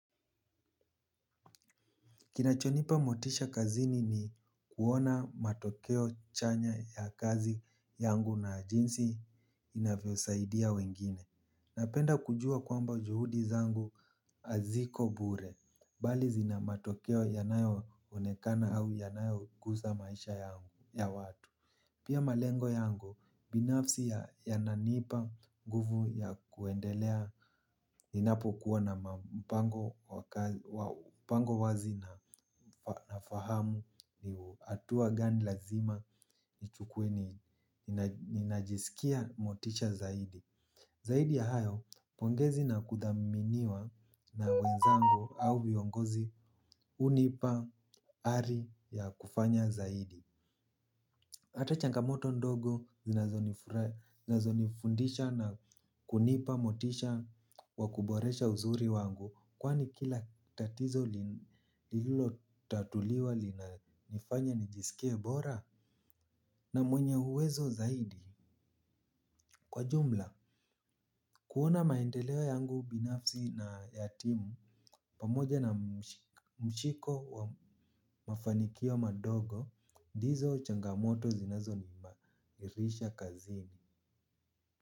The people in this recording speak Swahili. Kinachonipa motisha kazini ni kuona matokeo chanya ya kazi yangu na jinsi inavyosaidia wengine. Napenda kujua kwamba juhudi zangu haziko bure. Bali zina matokeo yanayo onekana au yanayogusa maisha yangu ya watu. Pia malengo yangu, binafsi ya yananipa nguvu ya kuendelea ninapokuwa nama mpango wa mpango wazi na na fahamu ni hatua gani lazima nichukue ni ninajisikia motisha zaidi. Zaidi ya hayo, pongezi na kudhaminiwa na wenzangu au viongozi hunipa ari ya kufanya zaidi. Hata changamoto ndogo zinazonifura zinazonifundisha na kunipa motisha wa kuboresha uzuri wangu kwani kila tatizo li lililotatuliwa linanifanya nijisikie bora na mwenye uwezo zaidi. Kwa jumla, kuona maendeleo yangu binafsi na ya timu pamoja na mshiko wa mafanikio madogo, ndizo changamoto zinazo niimarisha kazini.